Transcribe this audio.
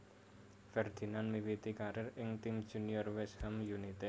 Ferdinand miwiti karier ing tim junior West Ham United